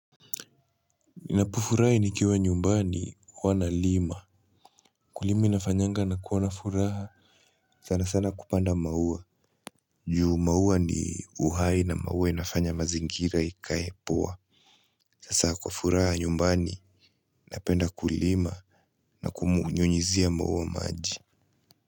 Ninapofurahi nikiwa nyumbani huwa na lima. Kulima inafanyanga nakuwa na furaha. Sana sana kupanda maua. Juu maua ni uhai na maua inafanya mazingira ikae poa. Saa kwa furaha nyumbani napenda kulima na kumunyunyizia maua maji.